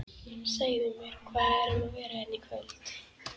Segðu mér, hvað er um að vera hérna í kvöld?